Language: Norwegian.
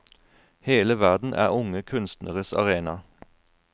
Hele verden er unge kunstneres arena.